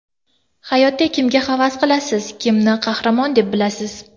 Hayotda kimga havas qilasiz, kimni qahramon deb bilasiz?